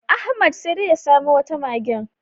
Ahmad sai dai ya samo wata magen.